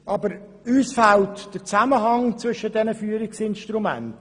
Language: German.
Doch uns fehlt der Zusammenhang zwischen diesen Führungsinstrumenten.